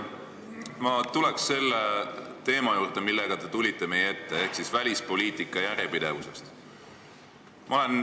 Ma tulen selle teema juurde, millega te meie ette tulite, ehk välispoliitika järjepidevuse juurde.